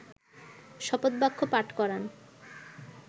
শপথবাক্য পাঠ করান